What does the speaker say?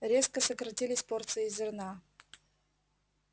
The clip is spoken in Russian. резко сократились порции зерна